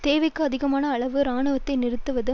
தேவைக்கு அதிகமான அளவு இராணுவத்தை நிறுத்துவது